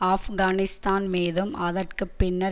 ஆப்கானிஸ்தான் மீதும் அதற்கு பின்னர்